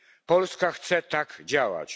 Polska chce tak działać.